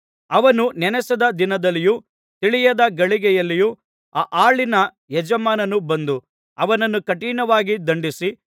ಅವನು ನೆನಸದ ದಿನದಲ್ಲಿಯೂ ತಿಳಿಯದ ಗಳಿಗೆಯಲ್ಲಿಯೂ ಆ ಆಳಿನ ಯಜಮಾನನು ಬಂದು ಅವನನ್ನು ಕಠಿಣವಾಗಿ ದಂಡಿಸಿ